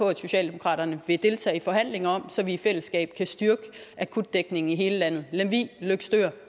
at socialdemokratiet vil deltage i forhandlinger om så vi i fællesskab kan styrke akutdækningen i hele landet lemvig løgstør